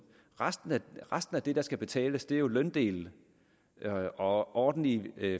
resten af resten af det der skal betales er jo løndelen og ordentlige